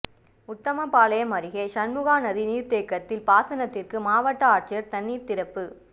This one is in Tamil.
உத்தமபாளையம் அருகே சண்முகாநதி நீா்தேக்கத்தில் பாசனத்திற்கு மாவட்ட ஆட்சியா் தண்ணீா் திறப்பு